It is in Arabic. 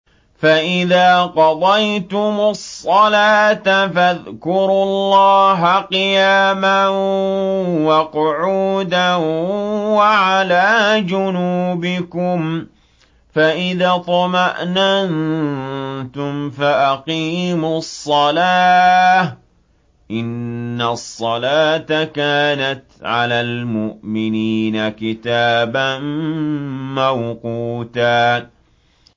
فَإِذَا قَضَيْتُمُ الصَّلَاةَ فَاذْكُرُوا اللَّهَ قِيَامًا وَقُعُودًا وَعَلَىٰ جُنُوبِكُمْ ۚ فَإِذَا اطْمَأْنَنتُمْ فَأَقِيمُوا الصَّلَاةَ ۚ إِنَّ الصَّلَاةَ كَانَتْ عَلَى الْمُؤْمِنِينَ كِتَابًا مَّوْقُوتًا